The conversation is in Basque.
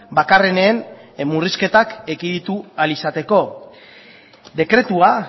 bakarrenen murrizketak ekiditu ahal izateko dekretua